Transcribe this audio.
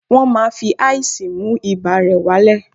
Wọ́n máa fi ice mú ibà rẹ̀ wá lẹ̀